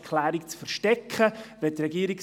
Seien Sie herzlich willkommen!